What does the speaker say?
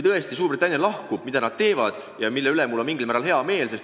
Tõesti, Suurbritannia lahkub ja mul on selle üle mingil määral hea meel.